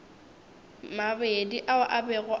mabedi ao a bego a